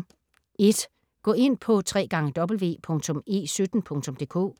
Gå ind på www.e17.dk